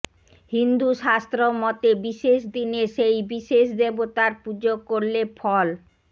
হিন্দু শাস্ত্র মতে বিশেষ দিনে সেই বিশেষ দেবতার পুজো করলে ফল